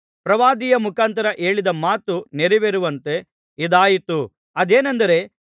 ಪ್ರವಾದಿಯ ಮುಖಾಂತರ ಹೇಳಿದ ಮಾತು ನೆರವೇರುವಂತೆ ಇದಾಯಿತು ಅದೇನೆಂದರೆ